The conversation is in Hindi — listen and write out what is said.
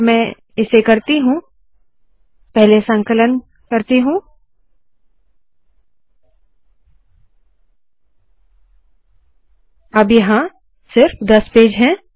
अगर मैं इसे करती हूँ पहले संकलन करती हूँ अब यहाँ सिर्फ दस पेज है